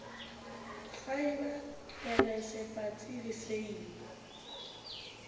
faeba tlelase patsi le seili